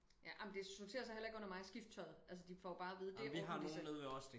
Ja ej men det sorterer sig heller ikke under mig og skifte tøj de får bare at vide det ordner de selv